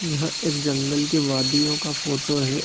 यह एक जंगल के वादियों का फोटो है।